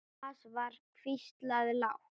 Thomas var hvíslað lágt.